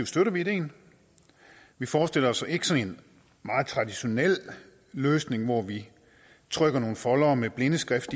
støtter vi ideen vi forestiller os ikke sådan en meget traditionel løsning hvor vi trykker nogle foldere med blindeskrift